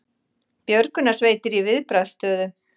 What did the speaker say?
Björgunarsveitir í viðbragðsstöðu